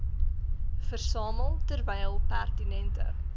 versamel terwyl pertinente